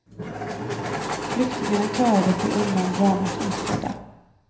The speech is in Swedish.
Flyktingarna klarade sig undan dramat oskadda.